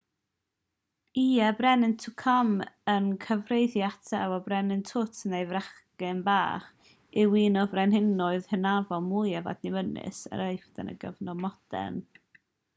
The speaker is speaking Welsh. ie y brenin tutankhamun y cyfeirir ato weithiau fel brenin tut neu'r bachgen frenin yw un o frenhinoedd hynafol mwyaf adnabyddus yr aifft yn y cyfnod modern